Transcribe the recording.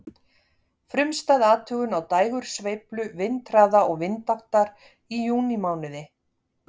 Frumstæð athugun á dægursveiflu vindhraða og vindáttar í júnímánuði.